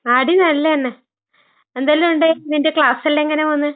ആടീം നല്ലതന്നെ. എന്തെല്ലോണ്ട്? നിന്റെ ക്ലാസ്സെല്ലാം എങ്ങനെ പോന്ന്?